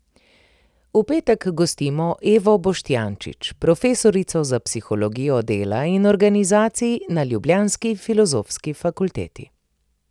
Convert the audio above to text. V petek gostimo Evo Boštjančič, profesorico za psihologijo dela in organizacij na ljubljanski Filozofski fakulteti.